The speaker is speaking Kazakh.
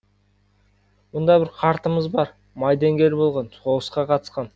мұнда бір қартымыз бар майдангер болған соғысқа қатысқан